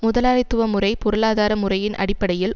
முதலாளித்துவமுறை பொருளாதார முறையின் அடிப்படையில்